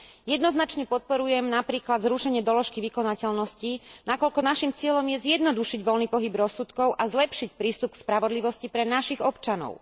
Jednoznačne podporujem napríklad zrušenie doložky vykonateľnosti, nakoľko naším cieľom je zjednodušiť voľný pohyb rozsudkov a zlepšiť prístup k spravodlivosti pre našich občanov.